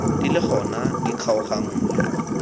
di le gona di kgaoganngwe